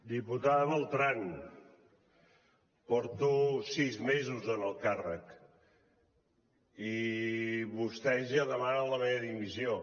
diputada beltrán porto sis mesos en el càrrec i vostès ja demanen la meva dimissió